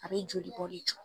A be joli bɔ de jɔ.